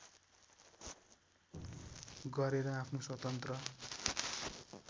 गरेर आफ्नो स्वतन्त्र